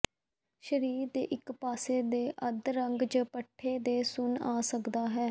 ਸਰੀਰ ਦੇ ਇੱਕ ਪਾਸੇ ਦੇ ਤੇ ਅਧਰੰਗ ਜ ਪੱਠੇ ਦੇ ਸੁੰਨ ਆ ਸਕਦਾ ਹੈ